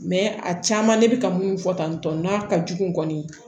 a caman ne bɛ ka mun fɔ tan tɔn n'a ka jugu kɔni